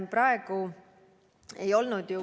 Praegu ei olnud ju.